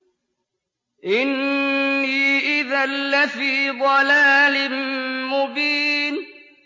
إِنِّي إِذًا لَّفِي ضَلَالٍ مُّبِينٍ